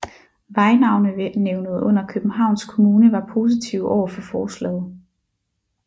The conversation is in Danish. Vejnavnenævnet under Københavns Kommune var positive overfor forslaget